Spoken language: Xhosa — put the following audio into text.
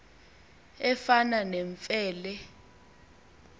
efana nemfe le